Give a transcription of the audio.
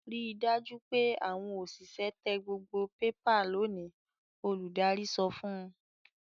"Ri dájú pé àwọn òṣìṣẹ́ tẹ gbogbo pépà lónìí!" Olùdarí sọ fún un.